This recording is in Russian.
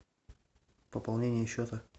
пополнение счета